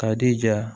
K'a jija